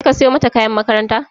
Kai ka siyo mata kayan makaranta?